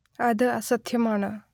അത് അസത്യമാണ്